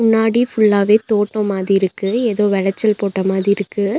முன்னாடி ஃபுல்லாவே தோட்டமாதிருக்கு எதோ வெளச்சல் போட்ட மாதிருக்கு.